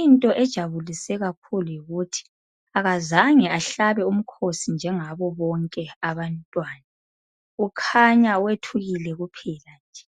Into enjabulise kakhulu yikhuthi akazange ahlabe umkhosi njengabanye abantwana. Kukhanya wethukile kuphela nje.